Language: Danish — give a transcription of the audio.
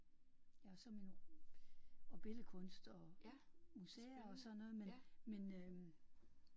Ja og så min og billedkunst og museer og sådan noget men men øh